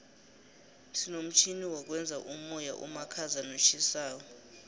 sinomtjhini wokwenza umoya omakhaza notjhisako